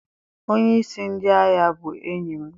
onye-isi ndi agha bu enyim.